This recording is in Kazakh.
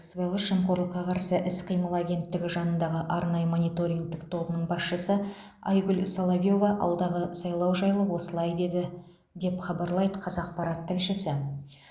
сыбайлас жемқорлыққа қарсы іс қимыл агенттігі жанындағы арнайы мониторингтік тобының басшысы айгүл соловьева алдағы сайлау жайлы осылай деді деп хабарлайды қазақпарат тілшісі